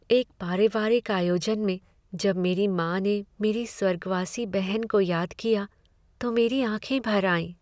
एक पारिवारिक आयोजन में जब मेरी माँ ने मेरी स्वर्गवासी बहन को याद किया तो मेरी भी आँखें भर आईं।